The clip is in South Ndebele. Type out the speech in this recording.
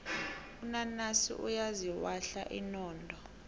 unanasi uyaziwahla inodo